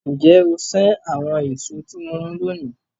Nje o sen awon eso ti mo mu loni?